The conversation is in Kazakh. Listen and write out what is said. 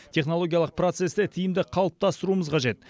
технологиялық процесті тиімді қалыптастыруымыз қажет